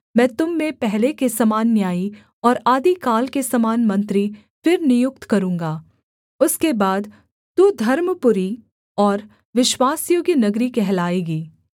मैं तुम में पहले के समान न्यायी और आदिकाल के समान मंत्री फिर नियुक्त करूँगा उसके बाद तू धर्मपुरी और विश्वासयोग्य नगरी कहलाएगी